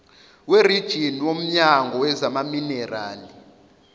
werijini womnyango wezamaminerali